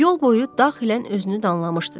Yol boyu daxilən özünü danlamışdı da.